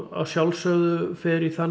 að sjálfsögðu fer í þann